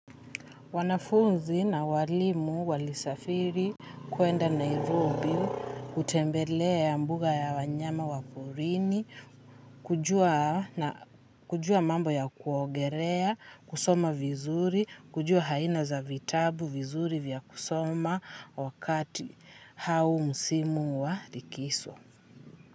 Wanafunzi na walimu walisafiri kwenda Nairobi, kutembelea mbuga ya wanyama wa porini, kujua mambo ya kuogelea, kusoma vizuri, kujua aina za vitabu vizuri vya kusoma wakati au msimu wa likizo.